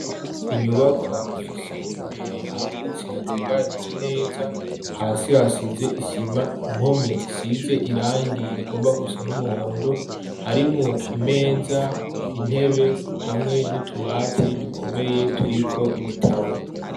Inyubaka ifishe imbere hagutsi hatunganije neza hasi hasize isima impome zisize irangi rigomba gusa n'umuhondo harimwo imeza intebe hamwe n'utubati dukomeye turiko ibitabo.